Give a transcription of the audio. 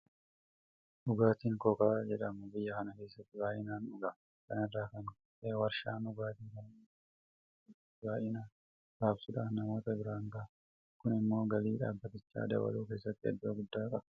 Dhugaatiin Kookaa jedhamu biyya kana keessatti baay'inaan dhugama. Kana irraa kan ka'e warshaan dhugaatii kana oomishu biyya kana keessatti baay'inaan raabsuudhaan namoota biraan ga'a. Kun immoo galii dhaabbatichaa dabaluu keessatti iddoo guddaa qaba.